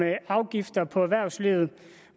afgifter på erhvervslivet